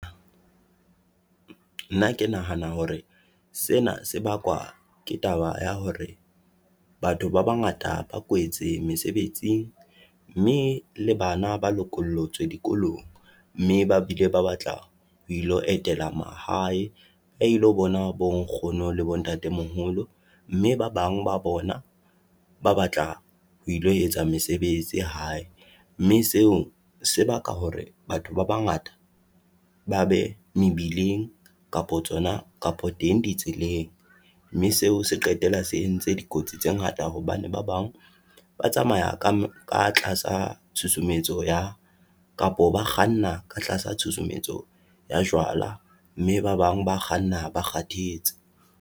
nna ke nahana hore sena se bakwa ke taba ya hore batho ba bangata ba kwetse mesebetsing, mme le bana ba lokolwetswe dikolong, mme ba bile ba batlang ho ilo etela mahae, ba ilo bona bo nkgono le bo ntate moholo. Mme ba bang ba bona ba batla ho ilo etsa mesebetsi hae, mme seo sebaka hore batho ba bangata ba be mebileng kapa teng di tseleng, mme seo se qetela se entse dikotsi tse ngata, hobane ba bang ba tsamaya ka ka tlasa tshusumetso ya kapo, ba kganna ka tlasa tshusumetso ya jwala. Mme ba bang ba kganna ba kgathetse.